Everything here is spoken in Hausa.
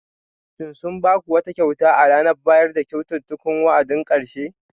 Shin sun ba ku wata kyauta a ranar bayar da kyaututtukan wa'adin karshe?